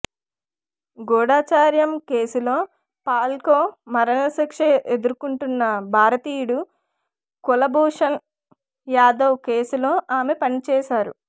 గూఢచర్యం కేసులో పాక్లో మరణశిక్ష ఎదుర్కొంటున్న భారతీయుడు కులభూషణ్ యాదవ్ కేసులో ఆమె పనిచేశారు